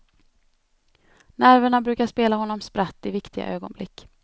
Nerverna brukar spela honom spratt i viktiga ögonblick.